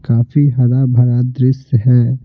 काफी हरा भरा दृश्य है।